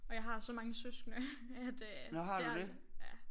Og jeg har så mange søskende at øh det aldrig ja